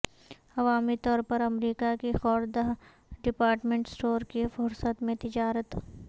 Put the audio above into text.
عوامی طور پر امریکہ کی خوردہ ڈپارٹمنٹ سٹور کی فہرست میں تجارت